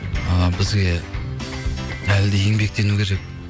ы бізге әлі де еңбектену керек